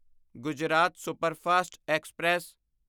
Gujarat superfast express